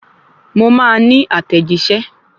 Mo máa ní àtẹ̀jíṣẹ́